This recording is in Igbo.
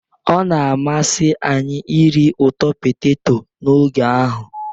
Ọ na-amasị anyị iri ụtọ poteto n'oge ahụ